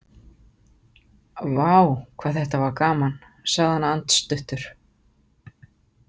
Vá, hvað þetta var gaman, sagði hann andstuttur.